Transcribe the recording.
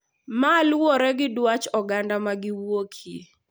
Ma luwore gi dwach oganda ma giwuokie,